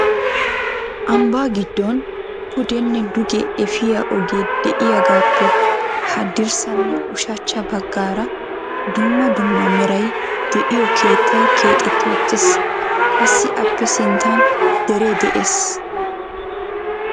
ambba giddon pudenne duge efiyaa ogee de'iyaagappe haddirssanne ushachcha baggaara dumma dumma meray de'iyo keettay keexxetti uttiis. qassi appe sinttan dere de'ees.